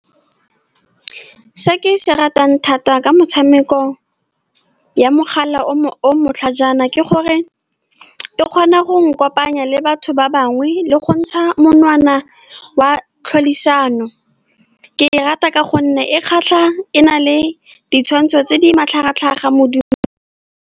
Se ke se ratang thata ka metshameko ya mogala o mo o matlhajana ke gore e kgona go nkopanya le batho ba bangwe, le go ntsha monwana wa tlhodisano. Ke e rata ka gonne e kgatlha, e na le ditshwantsho tse di matlhagatlhaga .